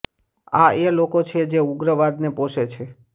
આ એ લોકો છે જે ઉગ્રવાદને પોષે છે